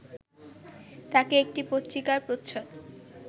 তাঁকে একটি পত্রিকার প্রচ্ছদ